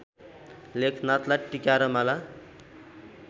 लेखनाथलाई टीका र माला